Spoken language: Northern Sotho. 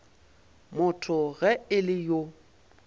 motho ge e le yo